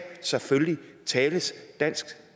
tales dansk